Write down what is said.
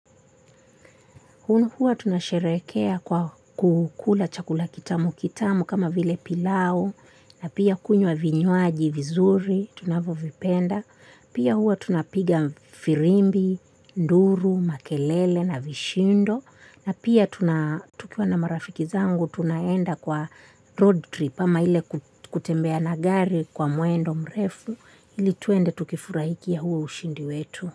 Hu hua tunasherekea kwa kukula chakula kitamu kitamu kama vile pilau na pia kunywa vinywaji vizuri tunavyovipenda. Pia hua tunapiga firimbi, nduru, makelele na vishindo na pia tukiwa na marafiki zangu tunaenda kwa road trip ama ile kutembea na gari kwa mwendo mrefu ili tuende tukifurahikia huo ushindi wetu.